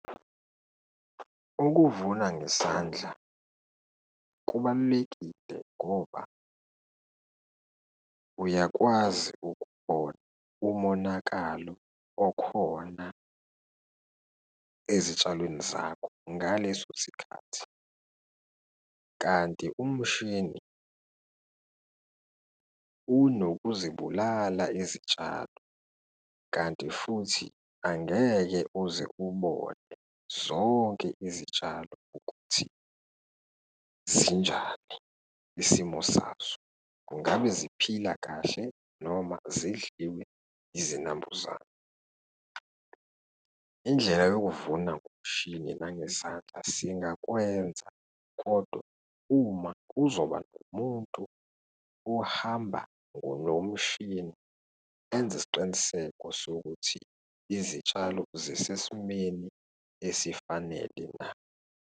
Ukuvuna ngesandla kubalulekile ngoba uyakwazi ukubona umonakalo okhona ezitshalweni zakho ngaleso sikhathi, kanti umshini unokuzibulala izitshalo, kanti futhi angeke uze ubone zonke izitshalo ukuthi zinjani isimo sazo. Kungabe ziphila kahle noma zidliwe izinambuzane? Indlela yokuvuna ngomshini nangesandla singakwenza kodwa uma kuzoba nomuntu ohamba ngomshini enze isiqiniseko sokuthi izitshalo zisesimweni esifanele na.